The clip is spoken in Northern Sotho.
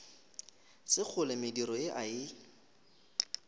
sekgole mediro ye a e